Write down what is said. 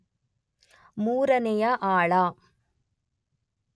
ಮೂರನೆಯ ಆಳ